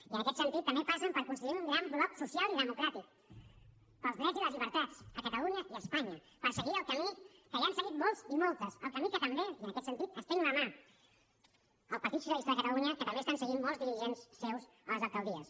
i en aquest sentit també passen per constituir un gran bloc social i democràtic pels drets i les llibertats a catalunya i a espanya per seguir el camí que ja han seguit molts i moltes el camí que també i en aquest sentit estenc la mà al partit dels socialistes de catalunya estan seguint molts dirigents seus a les alcaldies